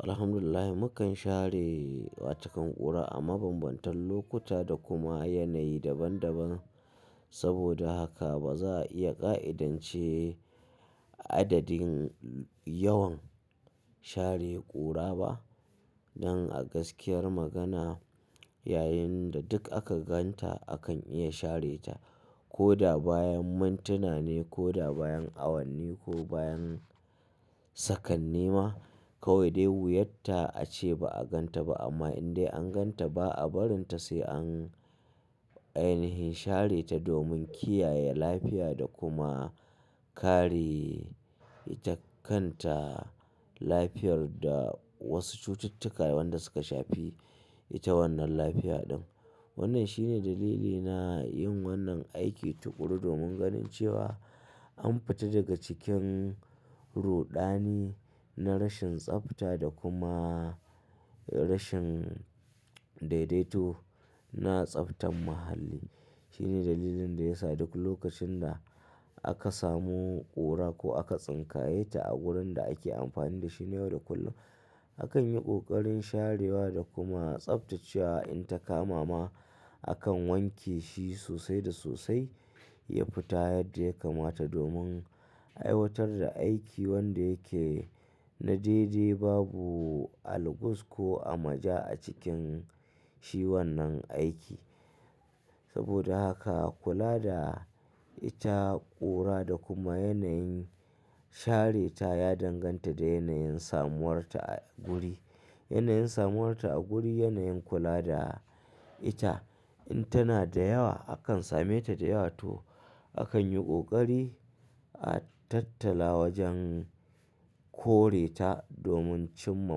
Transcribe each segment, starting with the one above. Alhamdulillahi mukan share wa cikin ƙura a mabambantan lokuta da kuma yanayi daban daban. Saboda haka ba za a iya ƙa'idance adadin yawan share ƙura ba. Nan a gaskiyar magana, yayin da duk aka ganta akan iya share ta ko da bayan mintuna ne ko da bayan awanni ko bayan sakanni ma. Kawai dai wuyar ta ace ba a ganta ba amma in dai an ganta ba a barin ta sai an, anihin share ta domin kiyaye lafiya da kuma kare ita kanta, lafiyar da wasu cututtuka wanda suka shafi ita wannan lafiya din. Wannan shine dalili na yin wannan aiki tuƙuru domin ganin cewa an fita daga cikin ruɗani na rashin tsafta da kuma rashin daidaito na tsaftan muhalli. Shine dalilin da yasa duk lokacin da aka samu ƙura ko aka tsinkaye ta a wurin da ake amfani da shi ne yau da kullum, akan yi ƙoƙarin sharewa da kuma tsaftacewa. In ta kama ma akan wanke shi sosai da sosai ya fita yadda ya kamata domin aiwatar da aiki wanda yake na daidai. Babu albuz ko amaja a cikin shi wannan aiki. Saboda haka kula da ita ƙura da kuma yanayin share ta ya danganta da yanayin samuwarta a guri. Yanayin samuwarta a guri, yanayin kula da ita. In tana da yawa, akan same ta da yawa toh akan yi ƙoƙari a tattala wajen kore ta domin cimma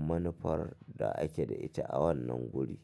manufar da ake da ita a wannan guri.